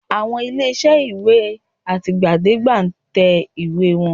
Àwọn ilé-iṣẹ́ ìwé àtìgbàdégbà ń tẹ ìwé wọn